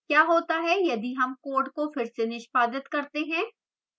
क्या होता है यदि हम code को फिर से निष्पादित करते हैं